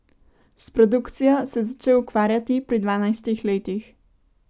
S produkcijo se je začel ukvarjati pri dvanajstih letih.